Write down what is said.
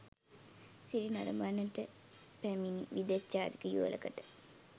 සිරි නරඹන්නට පැමිණි විදෙස් ජාතික යුවළකට